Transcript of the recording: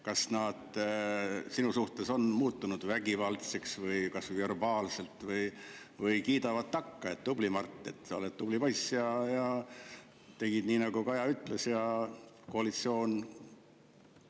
Kas nad on sinu suhtes muutunud vägivaldseks, kas või verbaalselt, või kiidavad takka, et tubli, Mart, sa oled tubli poiss, et tegid nii, nagu Kaja ja koalitsioon ütlesid?